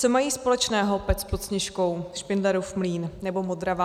Co mají společného Pec pod Sněžkou, Špindlerův Mlýn nebo Modrava?